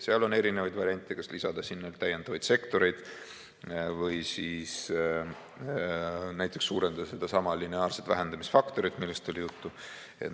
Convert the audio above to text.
Seal on erinevaid variante, kas lisada sinna täiendavaid sektoreid või näiteks suurendada sedasama lineaarset vähendamisfaktorit, millest oli juttu.